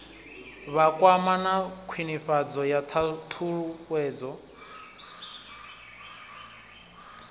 vhakwama na khwinifhadzo ya ṱhuṱhuwedzo